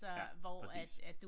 Ja præcis